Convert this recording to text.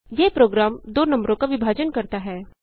यह प्रोग्राम दो नम्बरों का विभाजन करता है